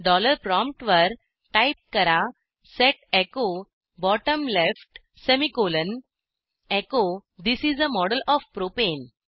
dollar प्रॉमप्टवर type करा set echo bottom left semicolon echo this is a model O F propane